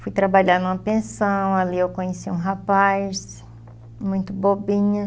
Fui trabalhar numa pensão, ali eu conheci um rapaz muito bobinha.